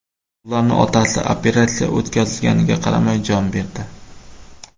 Ularning otasi, operatsiya o‘tkazilganiga qaramay, jon berdi.